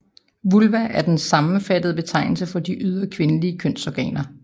Vulva er en sammenfattende betegnelse for de ydre kvindelige kønsorganer